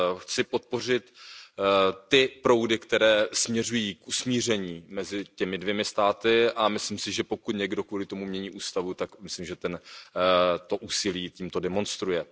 Chci podpořit ty proudy, které směřují k usmíření mezi těmi dvěma státy, a myslím si, že pokud někdo kvůli tomu mění ústavu, tak myslím, že to úsilí tímto demonstruje.